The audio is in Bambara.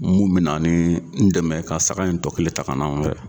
Mun bi na ni n dɛmɛ ka saga in tɔ kelen ta ka na n fɛ